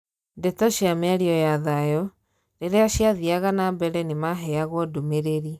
Ndeto cia miario ya thayu, riria ciathiaga nambere nimaheyagwo ndumereri.